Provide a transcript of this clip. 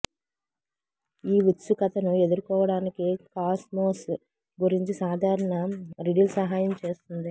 ఈ ఉత్సుకతను ఎదుర్కోవటానికి కాస్మోస్ గురించి సాధారణ రిడిల్ సహాయం చేస్తుంది